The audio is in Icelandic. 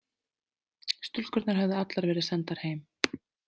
Stúlkurnar höfðu allar verið sendar heim.